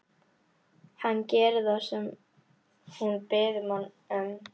Hann gerir það sem hún biður hann um.